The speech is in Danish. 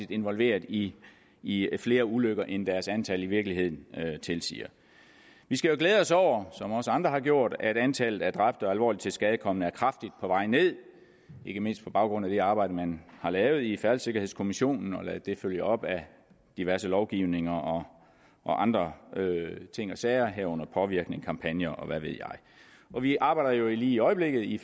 involverede i i flere ulykker end deres antal i virkeligheden tilsiger vi skal jo glæde os over som også andre har gjort at antallet af dræbte og alvorligt tilskadekomne er kraftigt på vej ned ikke mindst på baggrund af det arbejde man har lavet i færdselssikkerhedskommissionen og ladet det følge op af diverse lovgivninger og andre ting og sager herunder påvirkning kampagner og hvad ved jeg vi arbejder jo i øjeblikket i